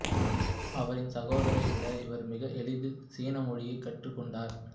அவரின் சகோதரரை விட இவர் மிக எளிதில் சீன மொழியை கற்றுக்கொண்டார்